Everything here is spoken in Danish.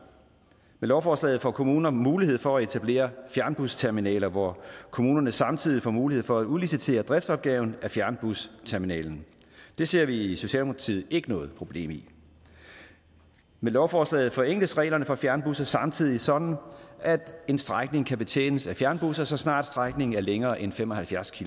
med lovforslaget får kommunerne mulighed for at etablere fjernbusterminaler hvor kommunerne samtidig får mulighed for at udlicitere driftsopgaven af fjernbusterminalerne det ser vi i socialdemokratiet ikke noget problem i med lovforslaget forenkles reglerne for fjernbusser samtidig sådan at en strækning kan betjenes af fjernbusser så snart strækningen er længere end fem og halvfjerds